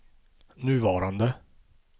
nuvarande